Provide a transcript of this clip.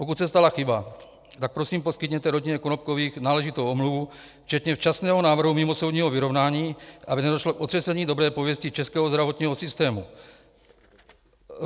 Pokud se stala chyba, tak prosím poskytněte rodině Konopkových náležitou omluvu včetně včasného návrhu mimosoudního vyrovnání, aby nedošlo k otřesení dobré pověsti českého zdravotního systému.